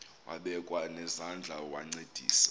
wabekwa nezandls wancedisa